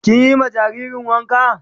Kin yi ma jaririn wanka?